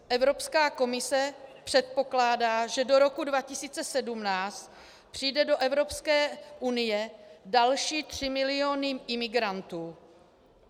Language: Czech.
Evropská komise předpokládá, že do roku 2017 přijdou do Evropské unie další 3 miliony imigrantů.